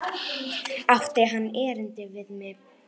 Átti hann erindi við mig?